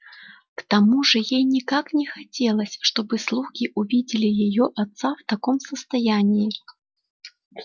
к тому же ей никак не хотелось чтобы слуги увидели её отца в таком состоянии